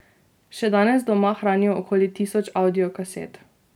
Še danes doma hranijo okoli tisoč avdiokaset.